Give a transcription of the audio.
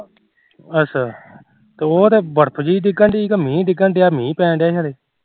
ਅੱਛਾ ਤੇ ਉਹ ਤੇ ਬਰਫ ਜੀ ਡਿਗੱਣ ਰੀ ਮੀਂਹ ਜਿਹਾ ਪੈਣ ਡਿਆ